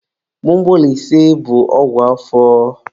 Gbogbolise bụ ọgwụ afọ.